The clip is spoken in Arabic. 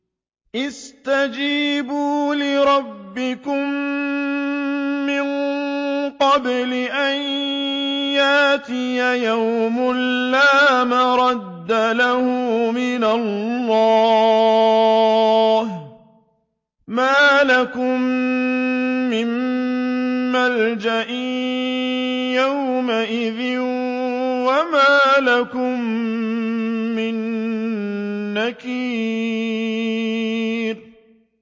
اسْتَجِيبُوا لِرَبِّكُم مِّن قَبْلِ أَن يَأْتِيَ يَوْمٌ لَّا مَرَدَّ لَهُ مِنَ اللَّهِ ۚ مَا لَكُم مِّن مَّلْجَإٍ يَوْمَئِذٍ وَمَا لَكُم مِّن نَّكِيرٍ